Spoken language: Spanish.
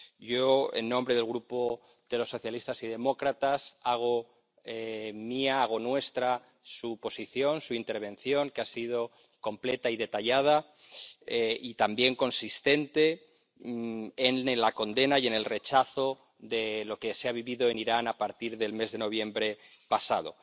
Yo, en nombre del Grupo de los Socialistas y Demócratas hago mía, hago nuestra, su posición, su intervención, que ha sido completa y detallada y también consistente, en la condena y en el rechazo de lo que se ha vivido en Irán desde el mes de noviembre pasado.